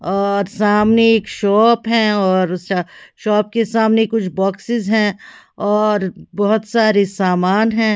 और सामने एक शॉप है और उस शॉप के सामने कुछ बॉक्सेस है और बहोत सारे सामान है।